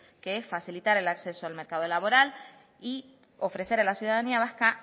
que es facilitar el acceso al mercado laboral y ofrecer a la ciudadanía vasca